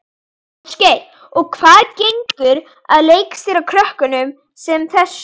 Ásgeir: Og hvernig gengur að leikstýra krökkum sem þessu?